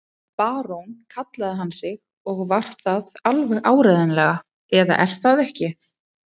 Barón kallaði hann sig og var það alveg áreiðanlega, eða er það ekki?